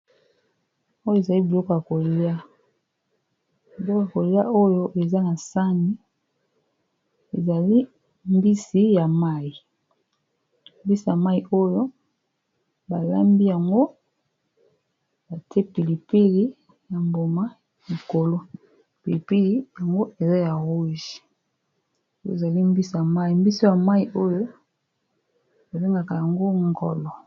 Oyo ezali biloka koliabiloka kolia oyo eza na sani ezali mbisi ya mai mbisi ya mai oyo balambi yango ya te pilipili ya mboma mikolo pilipili yango eza ya rouge, oy ezali mbisi ya mai mbisi ya mai oyo ebengaka yango ngolo.